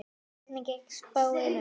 Hvernig gekk spáin upp?